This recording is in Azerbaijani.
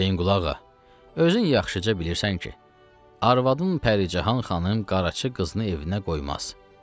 Hüseynqulu ağa, özün yaxşıca bilirsən ki, arvadın Pərican xanım Qaraca qızını evinə qoymaz.